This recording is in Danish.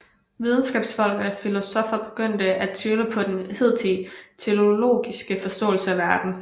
Videnskabsfolk og filosoffer begyndte at tvivle på den hidtidige teleologiske forståelse af verden